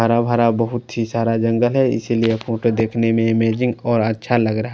हरा भरा बोहोत ही सारा जंगल है इसलिए ये फोटो देखने में अमेजिंग और अच्छा लग रहा है ।